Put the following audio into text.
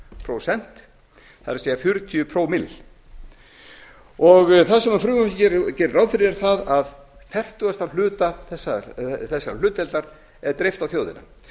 prósent það er fjörutíu pro bil og það sem frumvarpið gerir ráð fyrir er að fertugasta hluta þessarar hlutdeildar er dreift á þjóðina